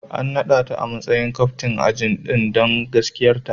An nada ta a matsayin captain ajin don gaskiyarta.